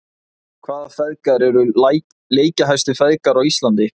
Hvaða feðgar eru leikjahæstu feðgar á Íslandi?